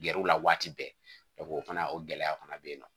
Gɛrɛw la waati bɛɛ o fana o gɛlɛya fana bɛ yen nɔ